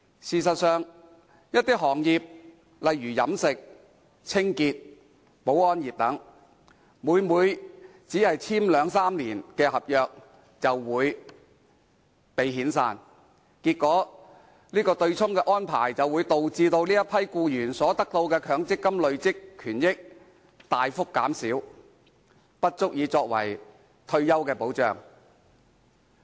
事實上，一些行業例如飲食、清潔、保安業等，每每在兩三年約滿後便被遣散，結果對沖安排導致這群僱員所得的強積金累算權益大幅減少，根本不足以作為退休保障。